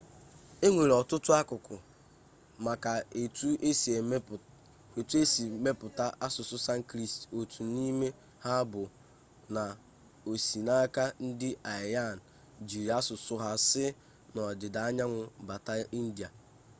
enwere ọtụtụ akụkọ maka etu e si mepụta asụsụ sanskrit otu n'ime ha bụ na o si n'aka ndị aryan jiiri asụsụ ha si n'ọdịda anyanwụ bata india